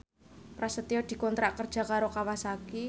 Prasetyo dikontrak kerja karo Kawasaki